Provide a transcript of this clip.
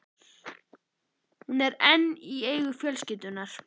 Hún er enn í eigu fjölskyldunnar.